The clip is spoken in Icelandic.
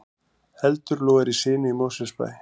Eldur logar í sinu í Mosfellsbæ